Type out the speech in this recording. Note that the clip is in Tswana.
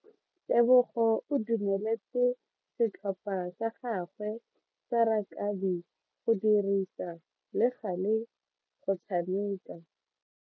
Tebogo o dumeletse setlhopha sa gagwe sa rakabi go dirisa le gale go tshameka.